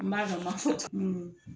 N ma dɔ n m'a fɔ